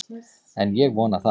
En ég vona það!